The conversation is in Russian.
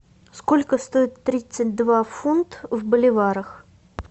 сколько стоит тридцать два фунт в боливарах